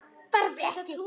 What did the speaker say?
Farðu ekki.